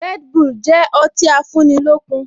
Red bull jẹ ọtí afúnilókun